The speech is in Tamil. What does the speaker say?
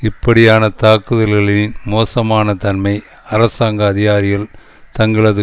இப்படியான தாக்குதல்களின் மோசமான தன்மை அரசாங்க அதிகாரிகள் தங்களது